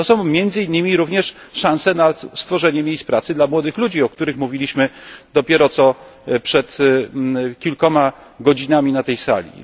To są między innymi również szanse na stworzenie miejsc pracy dla młodych ludzi, o których mówiliśmy dopiero co przed kilkoma godzinami na tej sali.